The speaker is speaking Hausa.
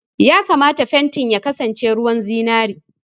Ya kamata fentin ya kasance ruwan zinari!